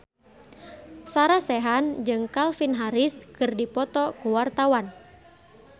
Sarah Sechan jeung Calvin Harris keur dipoto ku wartawan